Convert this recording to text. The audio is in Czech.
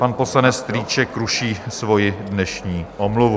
Pan poslanec Strýček ruší svoji dnešní omluvu.